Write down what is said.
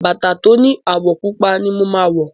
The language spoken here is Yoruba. Bàtà tó ni àwọ̀ pupa ni mo máa wọ̀.